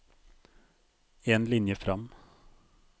En linje fram